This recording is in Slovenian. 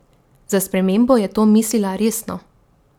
Za spremembo je to mislila resno.